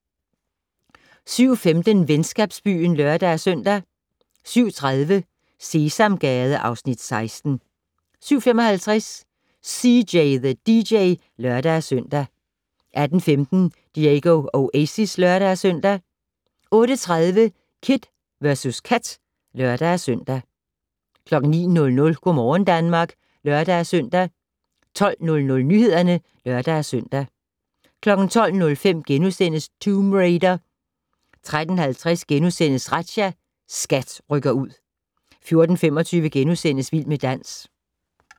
07:15: Venskabsbyen (lør-søn) 07:30: Sesamgade (Afs. 16) 07:55: CJ the DJ (lør-søn) 08:15: Diego Oasis (lør-søn) 08:30: Kid vs Kat (lør-søn) 09:00: Go' morgen Danmark (lør-søn) 12:00: Nyhederne (lør-søn) 12:05: Tomb Raider * 13:50: Razzia - SKAT rykker ud * 14:25: Vild med dans *